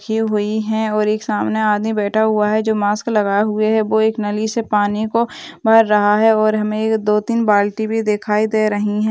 यह हुई है और एक सामने आदमी बैठा हुआ है जो मास्क लगाए हुए है वो एक नली से पानी को भर रहा है और हमें दो तीन बाल्टी भी दिखाई दे रही है।